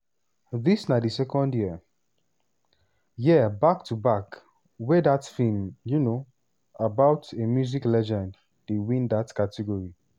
dis na di second year year back to back wey dat film um about a music legend dey win dat category.